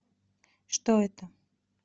что это